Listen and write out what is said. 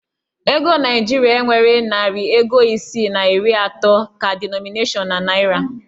Ego naịjirịa enweghi narị ego isii na iri atọ ka dinọminashịon na naịra.